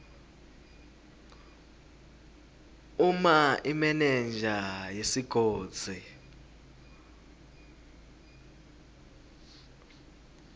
uma imenenja yesigodzi